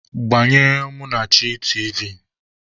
Gbanyere Munachi tiivi!